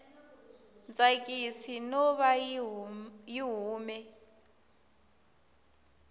tsakisi no va yi hume